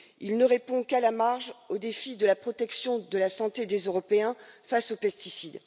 Il ne répond qu'à la marge au défi de la protection de la santé des Européens face aux pesticides.